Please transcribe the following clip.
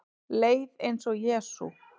Leið eins og Jesú